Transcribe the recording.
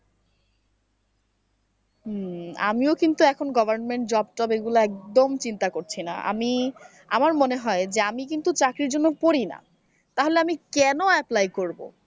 হম আমিও কিন্তু এখন government job এগুলো একদম চিন্তা করছি না আমি আমার মনে হয় যে আমি কিন্তু চাকরির জন্য পড়িনা তাহলে আমি কেন apply করব?